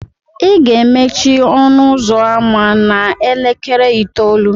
ị ga-emechi ọnụ ụzọ ámá a n'elekere itoolu